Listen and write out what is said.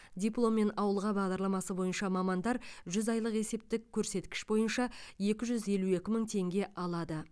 дипломмен ауылға бағдарламасы бойынша мамандар жүз айлық есептік көрсеткіш бойынша екі жүз елу екі мың теңге алады